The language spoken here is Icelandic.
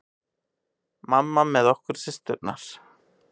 Mamma með okkur systurnar.